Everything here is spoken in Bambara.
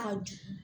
A jugu